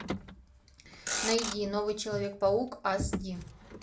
найди новый человек паук аш ди